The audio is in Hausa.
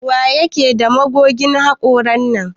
Waye ke da magogin hakoran nan?